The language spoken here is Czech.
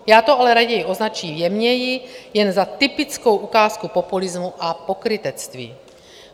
Já to ale raději označím jemněji, jen za typickou ukázku populismu a pokrytectví.